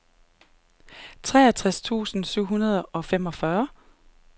treogtres tusind syv hundrede og femogfyrre